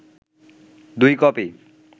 দুই কপি